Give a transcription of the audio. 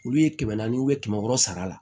Olu ye kɛmɛ naani u be kɛmɛ wɔɔrɔ sara la